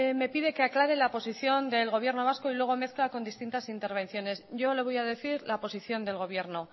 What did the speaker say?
me pide que aclare la posición del gobierno vasco y luego mezcla con distintas intervenciones yo le voy a decir la posición del gobierno